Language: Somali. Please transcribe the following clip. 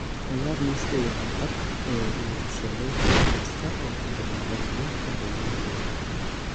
ciyaar liiska ugu cadcad ee lagu sheegay podcast-ka oo ka bilaabanaya kan ugu horreeya